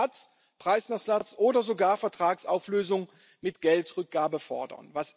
Ersatz, Preisnachlass oder sogar Vertragsauflösung mit Geldrückgabe fordern.